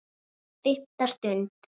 FIMMTA STUND